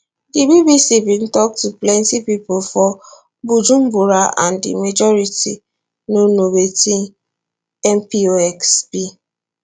di bbc bin tok to plenti pipo for bujumbura and di majority no know wetin mpox be